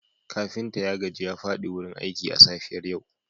kafinta ya gaji ya fadi wurin aiki a safiyar yau